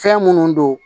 Fɛn minnu don